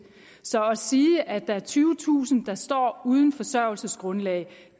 så at sige at der er tyvetusind der står uden forsørgelsesgrundlag